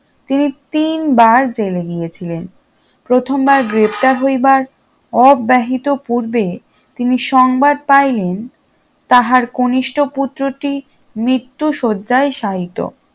তিনি তিন বার জেলে গিয়েছিলেন প্রথমবা গ্রেপ্তার হইবার অব্যাহিত পূর্বে তিনি সংবাদ পাইলেন তাহার কনিষ্ঠ পুত্রটি মৃত্যু শয্যায় শায়িত